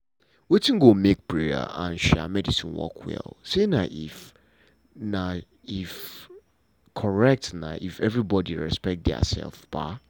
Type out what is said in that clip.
wetin go make prayer and um medicine work well um na if um na if everybody respect diasef. um